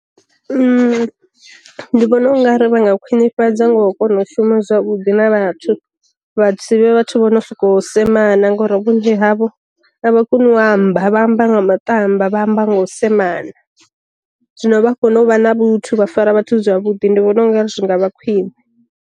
Ndi vhona ungari vha nga khwinifhadzwa ngao kona u shuma zwavhuḓi na vhathu, vha si vhathu vho no sokou semana ngori vhunzhi havho a vha koni u amba, vha amba nga matamba vha amba nga u semana, zwino vha kona u vha na vhuthu vha fara vhathu zwavhuḓi ndi vhona ungari zwi nga vha khwiṋe.